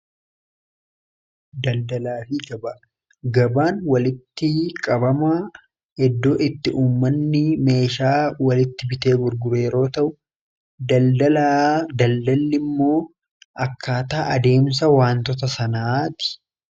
Daldalaa fi gaba gabaan walitti qabama eddoo itti uummanni meeshaa walitti bitee gurguruu yoo ta'u daldalli immoo akkaataa adeemsa waantoota sanaati.